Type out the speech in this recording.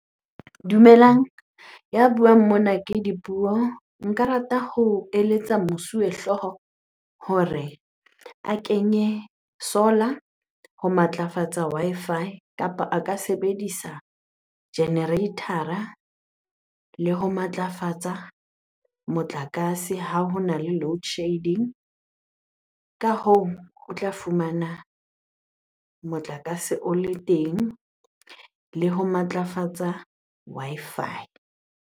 Dumelang, ya buang mona ke Dipuo.Nka rata ho eletsa mosuwehlooho hore a kenye solar ho matlafatsa Wi-Fi kapa a ka sebedisa generator-a le ho matlafatsa motlakase ha hona le loadshedding. Ka hoo, o tla fumana motlakase o le teng le ho matlafatsa Wi-Fi.